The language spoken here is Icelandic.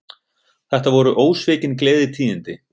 Þetta voru ósvikin gleðitíðindi